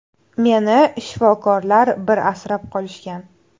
Meni shifokorlar bir asrab qolishgan.